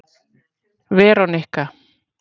Veronika